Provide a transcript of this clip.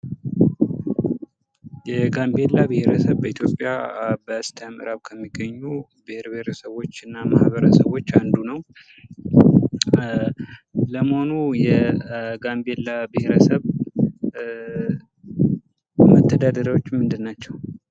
የጋምቤላ ብሔረሰብ በኢትዮጵያ በስተምዕራብ ከሚገኙ ብሔር ብሄረሰቦች እና ማህበረሰቦች አንዱ ነው። ለመሆኑ የጋምቤላ ብሔረሰብ መተዳደሪያዎቹ ምንድን ናቸው።